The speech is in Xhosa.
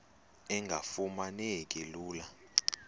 engafuma neki lula